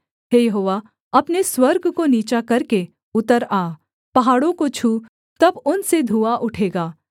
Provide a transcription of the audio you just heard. हे यहोवा अपने स्वर्ग को नीचा करके उतर आ पहाड़ों को छू तब उनसे धुआँ उठेगा